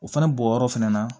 O fɛnɛ bɔyɔrɔ fɛnɛ na